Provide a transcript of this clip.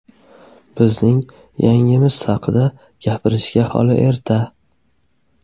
Bizning jangimiz haqida gapirishga hali erta.